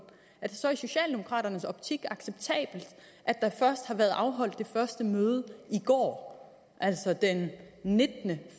er det så i socialdemokraternes optik acceptabelt at der først har været afholdt det første møde i går altså den nittende